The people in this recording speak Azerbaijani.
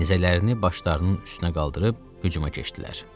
Nizələrini başlarının üstünə qaldırıb hücuma keçdilər.